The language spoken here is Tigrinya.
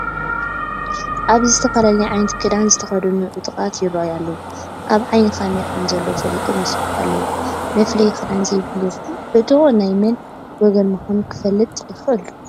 ኣብዚ ዝተፈላለየ ዓይነት ክዳን ዝተኸደኑ ዕጡቓት ይርአዩ ኣለዉ፡፡ ኣብ ዓይኒ ካሜራ ከምዘለዉ ፈሊጦም ይስሕቑ ኣለዉ፡፡ መፍለዪ ክዳን ዘይብሉ ዕጡቕ ናይ መን ወገን ምዃኑ ክፍለጥ ይኽእል ዶ?